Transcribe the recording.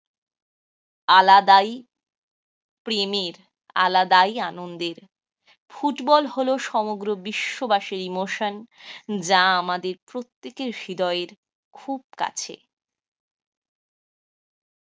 আলাদাই প্রেমের আলাদাই আনন্দের। ফুটবল হলো সমগ্র বিশ্ববাসী ইমোশন যা আমাদের প্রত্যেকের হৃদয়ের খুব কাছে